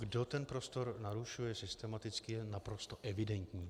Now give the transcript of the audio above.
Kdo ten prostor narušuje systematicky, je naprosto evidentní.